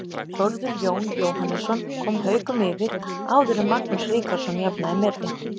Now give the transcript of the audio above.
Þórður Jón Jóhannesson kom Haukum yfir áður en Magnús Ríkharðsson jafnaði metin.